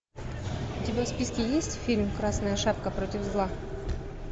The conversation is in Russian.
у тебя в списке есть фильм красная шапка против зла